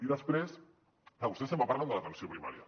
i després clar vostès sempre parlen de l’atenció primària